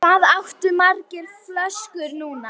Flokkur manna, svaraði síra Björn.